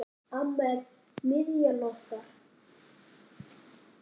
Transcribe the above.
Amma er miðjan okkar.